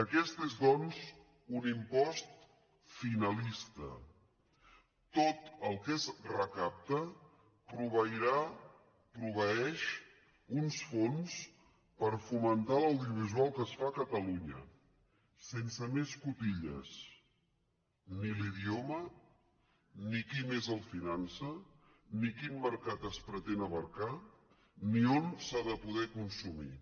aquest és doncs un impost finalista tot el que es recapta proveirà proveeix uns fons per fomentar l’audiovisual que es fa a catalunya sense més cotilles ni l’idioma ni qui més el finança ni quin mercat es pretén abastar ni on s’ha de poder consumir